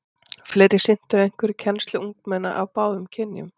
Flest sinntu einhverri kennslu ungmenna af báðum kynjum.